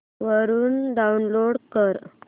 वरून डाऊनलोड कर